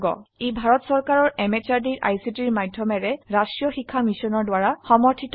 এটি ভাৰত সৰকাৰৰ ICT MHRD এৰ নেশ্যনেল মিছন অন এডুকেশ্যন দ্বাৰা সমৰ্থিত